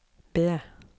B